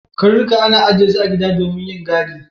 Karnuka ana ajiye su a gida domin yin gadi.